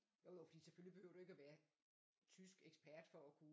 Jo jo fordi selvfølgelig behøver du ikke være tyskekspert for at kunne